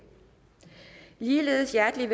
er